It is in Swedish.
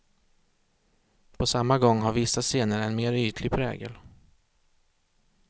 På samma gång har vissa scener en mer ytlig prägel.